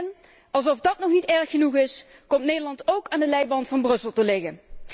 En, alsof dat nog niet erg genoeg is, komt Nederland ook aan de leiband van Brussel te liggen.